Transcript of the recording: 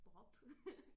Bob